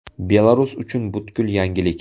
Belarus uchun butkul yangilik.